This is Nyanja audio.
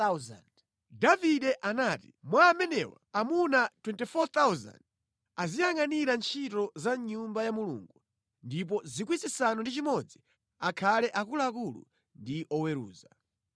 Davide anati, “Mwa amenewa, amuna 24,000 aziyangʼanira ntchito za mʼNyumba ya Mulungu ndipo 6,000 akhale akuluakulu ndi oweruza.